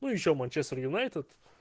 ну ещё манчестер юнайтед